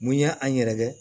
Mun y'an yɛrɛ kɛ